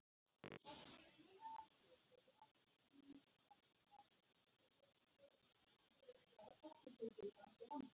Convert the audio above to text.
Meðal látinna var fjöldi barna.